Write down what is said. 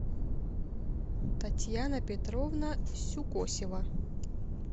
татьяна петровна сюкосева